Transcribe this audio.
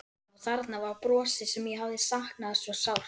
Og þarna var brosið sem ég hafði saknað svo sárt.